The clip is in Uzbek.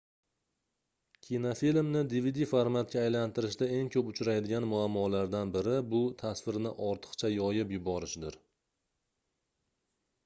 kinofilmni dvd formatiga aylantirishda eng koʻp uchraydigan muammolardan biri bu tasvirni ortiqcha yoyib yuborishdir